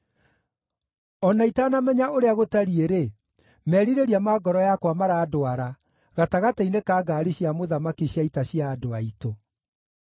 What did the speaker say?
O na itanamenya ũrĩa gũtariĩ-rĩ, merirĩria ma ngoro yakwa marandwara gatagatĩ-inĩ ka ngaari cia mũthamaki cia ita cia andũ aitũ.